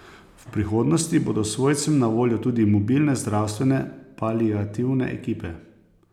V prihodnosti bodo svojcem na voljo tudi mobilne zdravstvene paliativne ekipe.